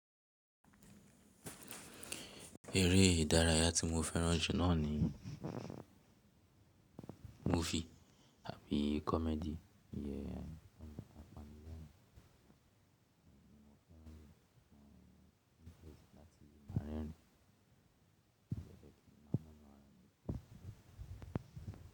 Eré ìdárayá tí mo fẹ́ràn jù náà ni movie àbí comedy.